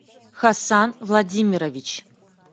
хасан владимирович